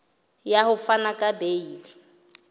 ya ho fana ka beile